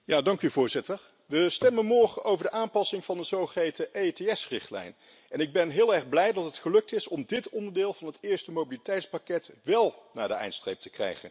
Voorzitter, we stemmen morgen over de aanpassing van de zogeheten EETS-richtlijn. Ik ben heel erg blij dat het gelukt is om dit onderdeel van het eerste mobiliteitspakket wél naar de eindstreep te krijgen.